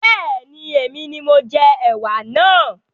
Bẹ́ẹ̀ni, èmi ni mo jẹ ẹwà náà